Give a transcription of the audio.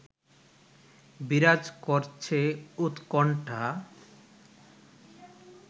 বিরাজ করছে উৎকণ্ঠা